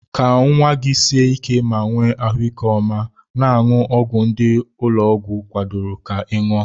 Ka nwa gị sie ike ma nwee ahụike ọma, na-aṅụ ọgwụ ndị ụlọọgwụ kwadoro ka ị ṅụọ.